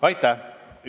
Aitäh!